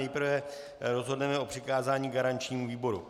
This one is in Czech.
Nejprve rozhodneme o přikázání garančnímu výboru.